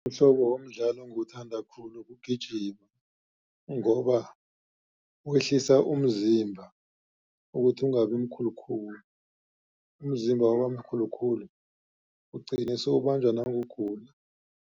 Umhlobo womdlalo engiwuthanda khulu kugijima. Ngoba wehlisa umzimba ukuthi ungabi mkhulukhulu. Umzimba wabamkhulukhulu ugcina sewubanjwa nakugula.